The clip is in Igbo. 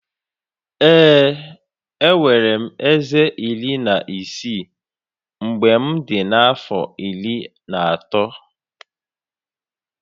Ee, enwere m eze iri na isii mgbe m dị afọ iri na otu